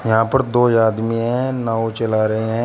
यहां पर दो आदमी हैं नांव चला रहे हैं।